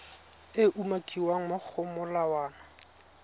e umakiwang mo go molawana